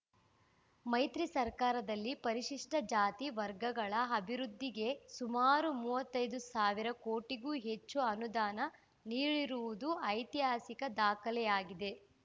ಮೈತ್ರಿ ಸರ್ಕಾರದಲ್ಲಿ ಪರಿಶಿಷ್ಟಜಾತಿ ವರ್ಗಗಳ ಅಭಿವೃವೃದ್ಧಿಗೆ ಸುಮಾರು ಮೂವತ್ತೈ ದು ಸಾವಿರ ಕೋಟಿಗೂ ಹೆಚ್ಚು ಅನುದಾನ ನೀಡಿರುವುದು ಐತಿಹಾಸಿಕ ದಾಖಲೆಯಾಗಿದೆ